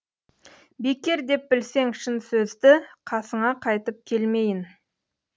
бекер деп білсең шын сөздіқасыңа қайтып келмейін